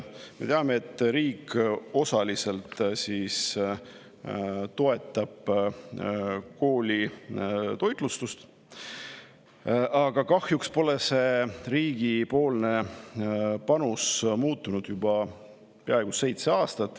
Me teame, et riik toetab osaliselt koolitoitlustust, aga kahjuks pole see riigipoolne panus muutunud juba peaaegu seitse aastat.